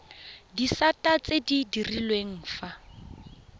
disata tse di direlwang fa